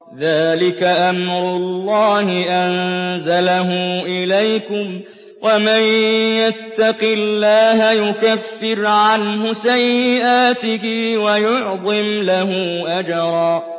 ذَٰلِكَ أَمْرُ اللَّهِ أَنزَلَهُ إِلَيْكُمْ ۚ وَمَن يَتَّقِ اللَّهَ يُكَفِّرْ عَنْهُ سَيِّئَاتِهِ وَيُعْظِمْ لَهُ أَجْرًا